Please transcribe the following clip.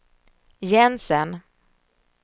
Jensen